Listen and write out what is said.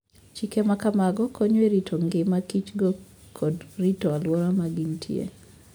Chike ma kamago konyo e rito ngima Kichgo kod rito alwora ma gintie.